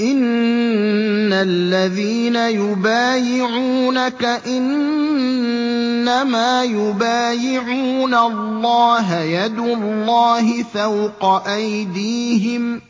إِنَّ الَّذِينَ يُبَايِعُونَكَ إِنَّمَا يُبَايِعُونَ اللَّهَ يَدُ اللَّهِ فَوْقَ أَيْدِيهِمْ ۚ